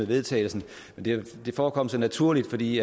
vedtagelse men det forekom så naturligt fordi